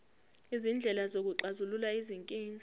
izindlela zokuxazulula izinkinga